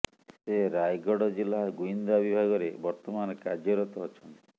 ସେ ରାୟଗଡ ଜିଲ୍ଳା ଗୁଇନ୍ଦା ବିଭାଗରେ ବର୍ତମାନ କାର୍ଯ୍ୟରତ ଅଛନ୍ତି